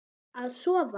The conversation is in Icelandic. Að sofa.